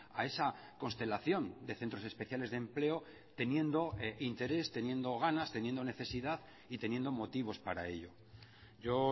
a esa constelación de centros especiales de empleo teniendo interés teniendo ganas teniendo necesidad y teniendo motivos para ello yo